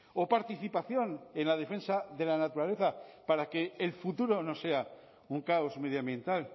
o participación en la defensa de la naturaleza para que el futuro no sea un caos medioambiental